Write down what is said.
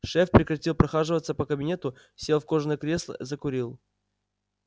шеф прекратил прохаживаться по кабинету сел в кожаное кресло закурил